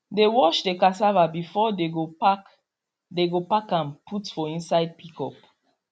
they wash the cassava before they go pack they go pack am put for inside pickup